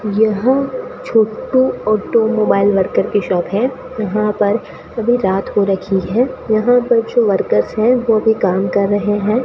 यहां Chhotu automobile worker की shop है यहां पर अभी रात हो रखी है यहां कुछ वर्कर्स है जोकि काम कर रहे है।